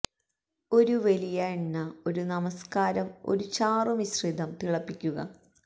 ഒരു വലിയ എണ്ന ഒരു നമസ്കാരം ഒരു ചാറു മിശ്രിതം തിളപ്പിക്കുക